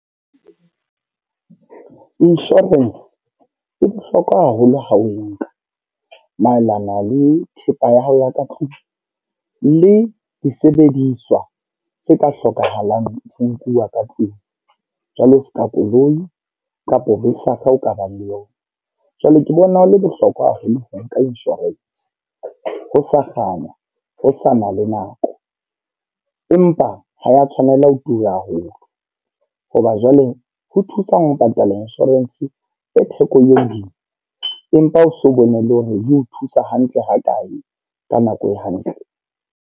Insurance, e bohlokwa haholo ha o e nka maelana le thepa ya hao ya ka tlung. Le disebediswa, tse ka hlokahalang ho nkuwa ka tlung. Jwalo seka koloi, kapa besakga o ka bang le yona. Jwale ke bona ho le bohlokwa haholo ho nka insurance, ho sa kganna ho sa na le nako. Empa ha ya tshwanela ho tura haholo. Hoba jwale ho thusang ho patala insurance e theko e hodimo, empa o so bone le hore e o thusa hantle ha kae ka nako e hantle.